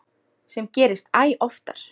Sem gerist æ oftar.